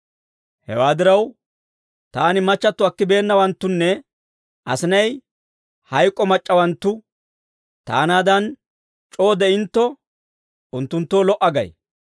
Hewaa diraw, taani machchatto akkibeennawanttunne asinay hayk'k'o mac'c'awanttu taanaadan c'oo de'iinontto, unttunttoo lo"a gay.